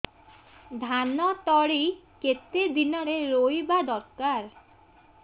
ଧାନ ତଳି କେତେ ଦିନରେ ରୋଈବା ଦରକାର